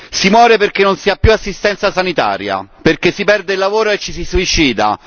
Si muore perché non si ha più assistenza sanitaria, perché si perde il lavoro e ci si suicida.